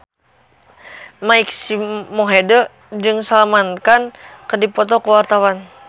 Mike Mohede jeung Salman Khan keur dipoto ku wartawan